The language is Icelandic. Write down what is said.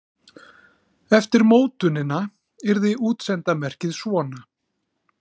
Eftir mótunina yrði útsenda merkið svona: